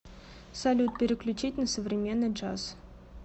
салют переключить на современный джаз